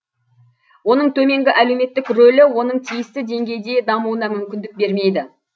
оның төменгі әлеуметтік рөлі оның тиісті деңгейде дамуына мүмкіндік бермейді